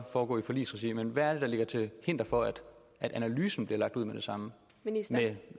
foregå i forligsregi men hvad er det der er til hinder for at analysen bliver lagt ud med det samme med